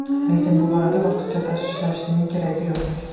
Lekin bu borada ortiqcha tashvishlanishning keragi yo‘q.